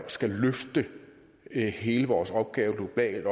skal løfte hele vores opgave globalt